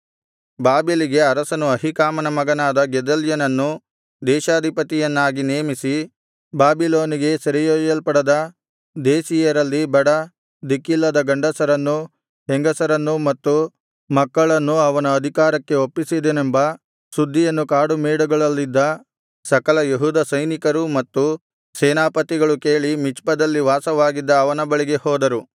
ಬಾಬೆಲಿನ ಅರಸನು ಅಹೀಕಾಮನ ಮಗನಾದ ಗೆದಲ್ಯನನ್ನು ದೇಶಾಧಿಪತಿಯನ್ನಾಗಿ ನೇಮಿಸಿ ಬಾಬಿಲೋನಿಗೆ ಸೆರೆಯೊಯ್ಯಲ್ಪಡದ ದೇಶೀಯರಲ್ಲಿ ಬಡ ದಿಕ್ಕಿಲ್ಲದ ಗಂಡಸರನ್ನೂ ಹೆಂಗಸರನ್ನೂ ಮತ್ತು ಮಕ್ಕಳನ್ನೂ ಅವನ ಅಧಿಕಾರಕ್ಕೆ ಒಪ್ಪಿಸಿದನೆಂಬ ಸುದ್ದಿಯನ್ನು ಕಾಡುಮೇಡುಗಳಲ್ಲಿದ್ದ ಸಕಲ ಯೆಹೂದ ಸೈನಿಕರೂ ಮತ್ತು ಸೇನಾಪತಿಗಳು ಕೇಳಿ ಮಿಚ್ಪದಲ್ಲಿ ವಾಸವಾಗಿದ್ದ ಅವನ ಬಳಿಗೆ ಹೋದರು